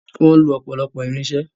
Wọ́n ń lo ọ̀pọ̀lọpọ̀ irinṣẹ́.